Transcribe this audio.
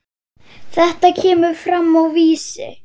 Þetta kemur fram á Vísi.